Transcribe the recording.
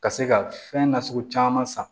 Ka se ka fɛn nasugu caman san